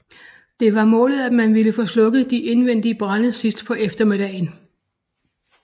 Det var målet at man ville få slukket de indvendige brande sidst på eftermiddagen